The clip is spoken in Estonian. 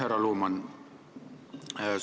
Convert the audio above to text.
Härra Luman!